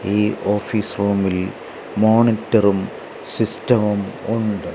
ഈ ഓഫീസ് റൂമിൽ മോണിറ്ററും സിസ്റ്റവും ഉണ്ട്.